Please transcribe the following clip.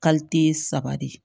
saba de